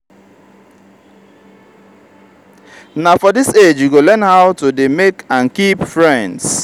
na for dis age you go learn how to dey make and keep friends